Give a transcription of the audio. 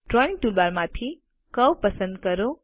drawing toolbar માંથી curve પસંદ કરો